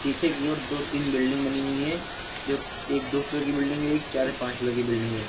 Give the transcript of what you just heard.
पीछे की ओर दो तीन बिल्डिंग बनी हुई हैं जो एक दो फ्लोर की बिल्डिंग है एक चार या पांच फ्लोर की बिल्डिंग है।